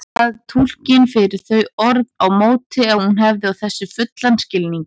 Bað túlkinn fyrir þau orð á móti að hún hefði á þessu fullan skilning.